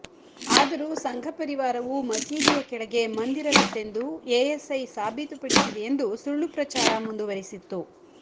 ಆದರೂ ಸಂಘಪರಿವಾರವು ಮಸೀದಿಯ ಕೆಳಗೆ ಮಂದಿರವಿತ್ತೆಂದು ಎಎಸ್ಐ ಸಾಬೀತುಪಡಿಸಿದೆಯೆಂದು ಸುಳ್ಳು ಪ್ರಚಾರ ಮುಂದುವರಿಸಿತ್ತು